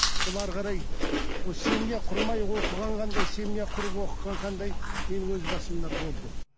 ол әрі қарай ол семья құрмай оқыған қандай семья құрып оқыған қандай менің өз басымда болды